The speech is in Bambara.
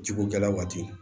Jiko gɛlɛya waati